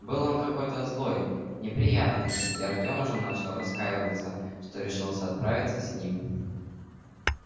был он какой-то злой неприятный и артём уже начал раскаиваться что решился отправиться с ним